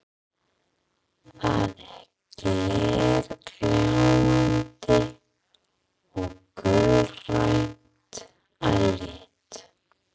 Það er glergljáandi og gulgrænt að lit.